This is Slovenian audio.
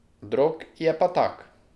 Drog je pa tak.